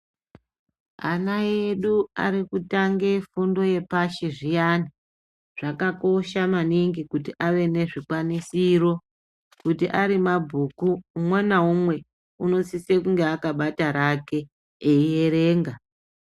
Ana edu arikutange fundo yepashi zviyani zvakakosha maningi kuti ave ne zvikwanisiro kuti ari mabhuku umwe naumwe unosise kunge akabate rakwe eierenga.